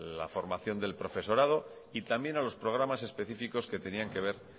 la formación del profesorado y también a los programas específicos que tenían que ver